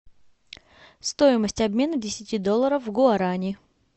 стоимость обмена десяти долларов в гуарани